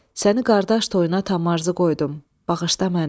Səni qardaş toyuna tam arzu qoydum, bağışla məni.